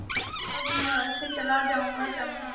तब मैं अवश्य चला जाऊँगा चंपा